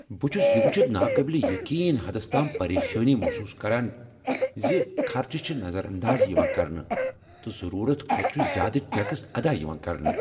بہٕ چھس یہ وُچھتھ ناقابل یقین حدس تام پریشانی محسوس کران ز خرچہٕ چھ نظر انداز یوان کرنہٕ، تہٕ ضرورت کھوتہٕ چھ زیادٕ ٹیکس ادا یوان کرنہٕ۔